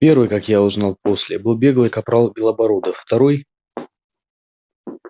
первый как узнал я после был беглый капрал белобородов второй